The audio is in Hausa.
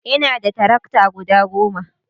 ina da tarakta guda goma